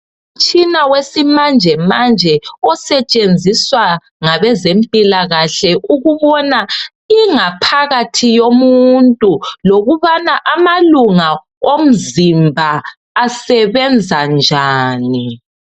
Umtshina wesimanjemanje ngabazempilakahle osetshenziswa ukubona ingaphakathi yomuntu lokubana amalunga omzimba asebenza njani.